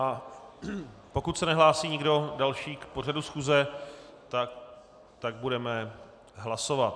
A pokud se nehlásí nikdo další k pořadu schůze, tak budeme hlasovat.